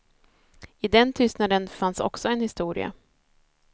I den tystnaden fanns också en historia.